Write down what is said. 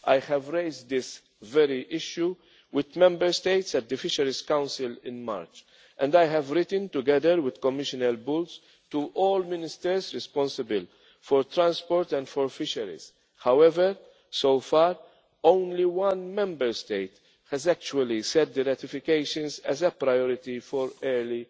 dialogue. I have raised this very issue with Member States at the Fisheries Council in March, and I have written, together with Commissioner Bulc, to all ministers responsible for transport and for fisheries. However, so far only one Member State has actually set the ratifications as a priority